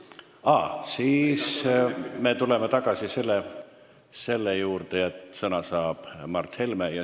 Aa, siis me tuleme tagasi selle juurde, et sõna saab Mart Helme.